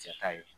Cɛ ta ye